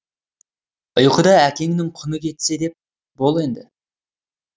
ұйқыда әкеңнің құны кетсе де бол енді